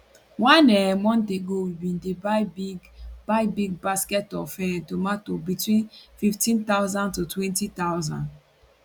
one um month ago we bin dey buy big buy big basket of um tomato for between 15000 to 20000